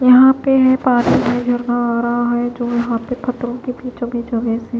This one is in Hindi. यहां पे पानी आ रहा है तो यहां पे पत्रों के पीछे पीछे--